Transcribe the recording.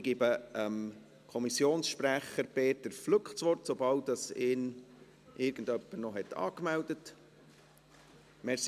Ich gebe dem Kommissionssprecher Peter Flück das Wort, sobald ihn jemand angemeldet hat.